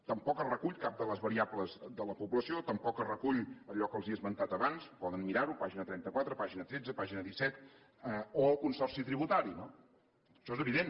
tampoc s’hi recull cap de les variables de la població tampoc s’hi recull allò que els he esmentat abans poden mirar ho pàgina trenta quatre pàgina tretze pàgina disset o el consorci tributari no això és evident